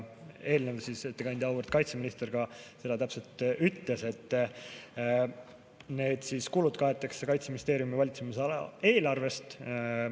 Eelmine ettekandja, auväärt kaitseminister ka seda täpselt ütles, et need kulud kaetakse Kaitseministeeriumi valitsemisala eelarvest.